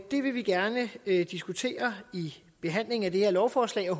det vil vi gerne diskutere i behandlingen af det her lovforslag og